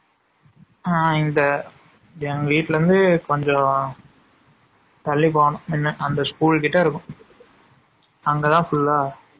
ஆ இந்த எங்க வீட்ல இருந்து கொஞ்சம் தல்லி போனும் என்ன அந்த school கிட்ட இருக்கும்.